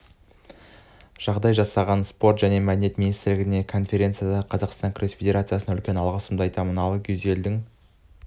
жағдай жасаған спорт және мәдениет министрлігіне конфедерацияға қазақстан күрес федерациясына үлкен алғысымды айтамын ал гюзелдің